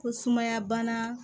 Ko sumaya bana